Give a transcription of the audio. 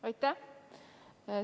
Aitäh!